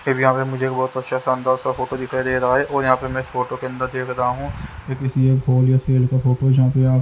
फिर यहाँ पे मुझे बहुत अच्छा शानदार सा फोटो दिखाई दे रहा हैऔर यहाँ पे मैं इस फोटो के अंदर देख रहा हूँ ये किसी एक ल या सेल का फोटो जहाँ पे--